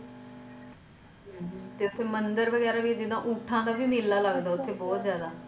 ਤੇ ਓਥੇ ਮੰਦਿਰ ਵਗੈਰਾ ਵੀ ਜਿੱਦਾਂ ਊਂਠਾਂ ਦਾ ਵੀ ਮੇਲਾ ਲੱਗਦਾ ਉੱਥੇ ਬਹੁਤ ਜਾਦਾ